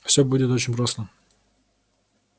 всё будет очень просто